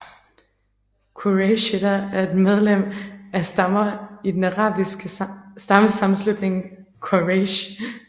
Qurayshitter er medlemmer af stammer i den arabiske stammesammenslutning Quraysh